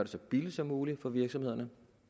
så billigt som muligt for virksomhederne